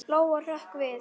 Lóa-Lóa hrökk við.